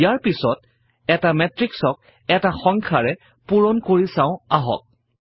ইয়াৰ পাছত এটা মেত্ৰিক্সক এটা সংখ্যাৰে পূৰণ কৰা চাও আহক